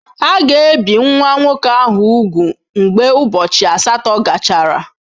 A ga-ebi nwa nwoke ahụ úgwù mgbe ụbọchị asatọ gachara.